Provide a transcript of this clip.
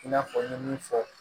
I n'a fɔ n ye min fɔ